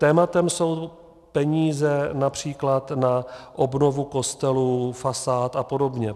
Tématem jsou peníze například na obnovu kostelů, fasád a podobně.